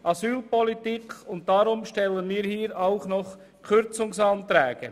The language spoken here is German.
Deshalb stellen wir hier auch Kürzungsanträge.